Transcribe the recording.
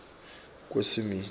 kwesimilo